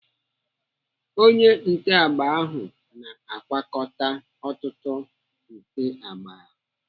Onye nte agba ahụ na-agwakọta ọtụtụ nte agba.